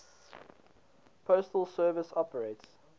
postal service operates